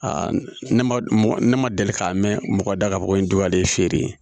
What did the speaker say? ne ma ne ma deli k'a mɛn mɔgɔ da k'a fɔ ko nin don ale feere